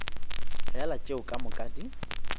fela tšeo ka moka di